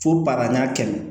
Fo baara n'a kɛ